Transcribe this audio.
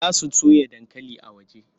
Za su soya dankali a waje.